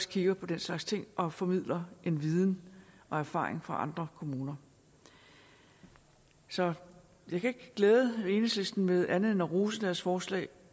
kigge på den slags ting og formidle viden og erfaring fra andre kommuner så jeg kan ikke glæde enhedslisten med andet end at rose deres forslag